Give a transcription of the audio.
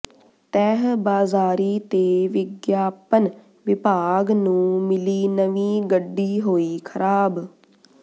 ਤਹਿ ਬਾਜ਼ਾਰੀ ਤੇ ਵਿਗਿਆਪਨ ਵਿਭਾਗ ਨੂੰ ਮਿਲੀ ਨਵੀਂ ਗੱਡੀ ਹੋਈ ਖ਼ਰਾਬ